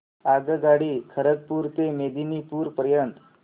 आगगाडी खरगपुर ते मेदिनीपुर पर्यंत